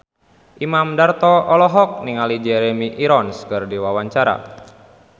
Imam Darto olohok ningali Jeremy Irons keur diwawancara